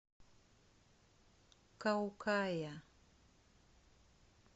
каукая